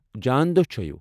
جان دوہ چھٲوِو ۔